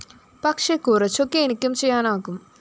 പക്ഷേ കുറച്ചൊക്കെ എനിക്കും ചെയ്യാനാകും